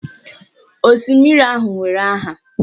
Osimiri ahụ nwere aha.